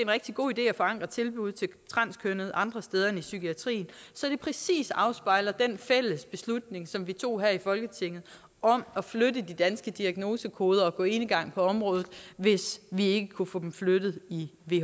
rigtig god idé at forankre tilbud til transkønnede andre steder end i psykiatrien så det præcis afspejler den fælles beslutning som vi tog her i folketinget om at flytte de danske diagnosekoder og gå enegang på området hvis vi ikke kunne få dem flyttet i